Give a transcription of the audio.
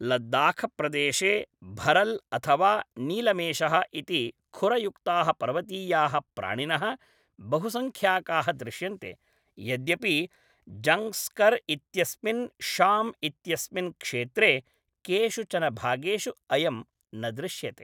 लद्दाखप्रदेशे भरल् अथवा नीलमेषः इति खुरयुक्ताः पर्वतीयाः प्राणिनः बहुसङ्ख्याकाः दृश्यन्ते, यद्यपि ज़ङ्ग्स्कर् इत्यस्मिन् शाम् इत्यस्मिन् क्षेत्रे केषुचन भागेषु अयं न दृश्यते।